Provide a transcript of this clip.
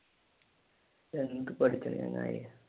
എന്ത് പഠിക്കാനാ ചങ്ങായി?